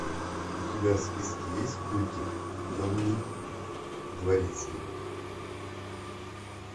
у тебя в списке есть мультик темный дворецкий